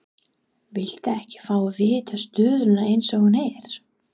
Viltu ekki fá að vita stöðuna eins og hún er?